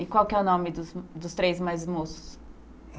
E qual que é o nome dos dos três mais moços?